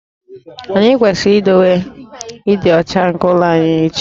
Anyị kwesịrị idowe ịdị ọcha nke ụlọ anyị echi